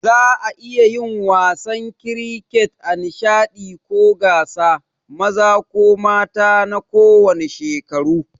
Za'a iya yin wasan kiriket a nishaɗi ko gasa, maza ko mata na kowanne shekaru.